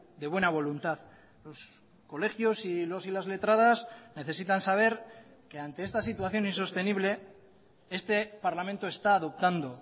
de buena voluntad los colegios y los y las letradas necesitan saber que ante esta situación insostenible este parlamento está adoptando